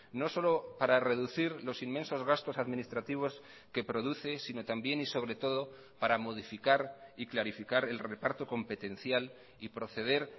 no solo para reducir los inmensos gastos administrativos que produce sino también y sobre todo para modificar y clarificar el reparto competencial y proceder